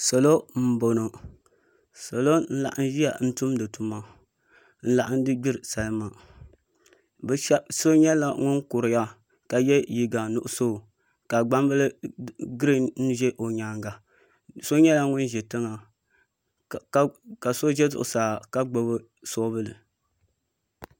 Salo n laɣam ʒiya tumdi tuma n laɣamdi gbiri salima so nyɛla ŋun kuriya ka yɛ liiga nuɣso ka gbambili giriin ʒɛ o nyaanga so nyɛla ŋun ʒi tiŋa ka so ʒɛ zuɣusaa ka gbubi soobuli